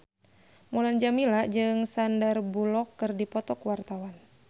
Mulan Jameela jeung Sandar Bullock keur dipoto ku wartawan